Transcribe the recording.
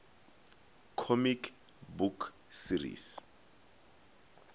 comic book series